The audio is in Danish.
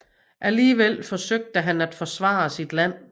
Alligevel forsøgte han at forsvare sit land